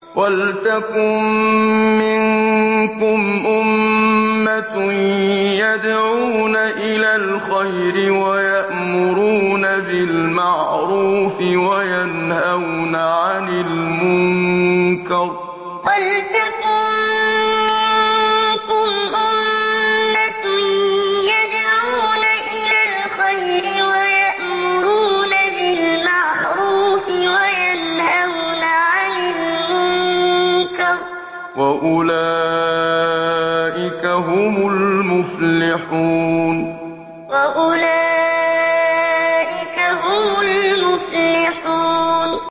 وَلْتَكُن مِّنكُمْ أُمَّةٌ يَدْعُونَ إِلَى الْخَيْرِ وَيَأْمُرُونَ بِالْمَعْرُوفِ وَيَنْهَوْنَ عَنِ الْمُنكَرِ ۚ وَأُولَٰئِكَ هُمُ الْمُفْلِحُونَ وَلْتَكُن مِّنكُمْ أُمَّةٌ يَدْعُونَ إِلَى الْخَيْرِ وَيَأْمُرُونَ بِالْمَعْرُوفِ وَيَنْهَوْنَ عَنِ الْمُنكَرِ ۚ وَأُولَٰئِكَ هُمُ الْمُفْلِحُونَ